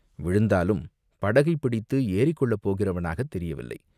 விழுந்தாலும் படகைத் பிடித்து ஏறிக்கொள்ளப் போகிறவனாகத் தெரியவில்லை.